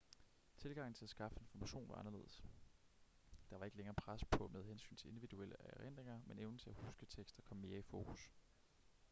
tilgangen til at skaffe information var anderledes der var ikke længere pres på med hensyn til individuelle erindringer men evnen til at huske tekster kom mere i fokus